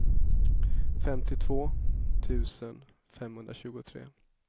femtiotvå tusen femhundratjugotre